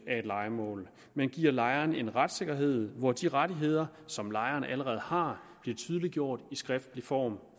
af et lejemål men giver lejeren en retssikkerhed hvor de rettigheder som lejeren allerede har bliver tydeliggjort i skriftlig form